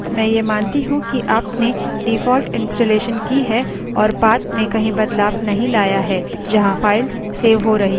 मैं ये मानती हूँ कि आपने default installation की है और path में कहीं बदलाव नहीं लाया है जहाँ files सेव हो रही हैं